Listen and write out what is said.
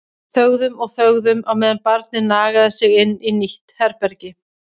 Þögðum og þögðum á meðan barnið nagaði sig inn í nýtt herbergi.